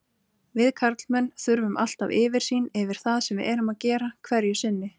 Við karlmenn þurfum alltaf yfirsýn yfir það sem við erum að gera hverju sinni.